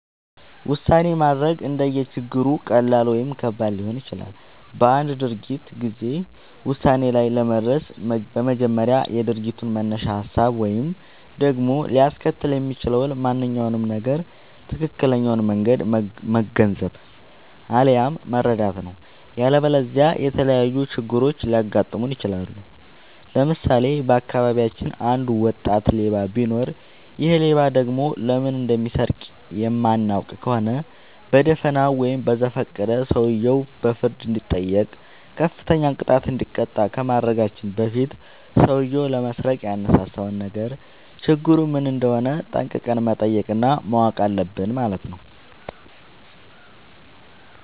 ውሳኔ ማድረግ እንደየ ችግሩ ሁኔታ ቀላል ወይም ከባድ ሊሆን ይችላል። በአንድ ድርጊት ጊዜ ውሳኔ ላይ ለመድረስ በመጀመሪያ የድርጊቱን መነሻ ሀሳብ ወይም ደግሞ ሊያስከትል የሚችለውን ማንኛውም ነገር ትክክለኛውን መንገድ መገንዘብ፣ አለያም መረዳት ነው።. ያለበለዚያ የተለያዩ ችግሮች ሊያጋጥሙን ይችላሉ። ለምሳሌ:- በአካባቢያችን አንድ ወጣት ሌባ ቢኖር ይሔ ሌባ ደግሞ ለምን እንደሚሰርቅ የማናውቅ ከሆነ በደፋናው ወይም በዘፈቀደ ሰውየው በፍርድ እንዲጠይቅ፤ ከፍተኛ ቅጣት እንዲቀጣ ከማድረጋችን በፊት ሠውዬው ለመስረቅ ያነሳሳውን ነገር ችግሩ ምን እንደሆነ ጠንቅቀን መጠየቅ እና ማወቅ አለብን ማለት ነው።